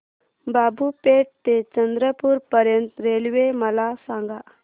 बाबूपेठ ते चंद्रपूर पर्यंत रेल्वे मला सांगा